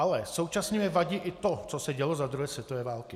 Ale současně mi vadí i to, co se dělo za druhé světové války.